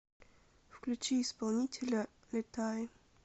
включи исполнителя летай